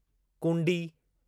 कूंडी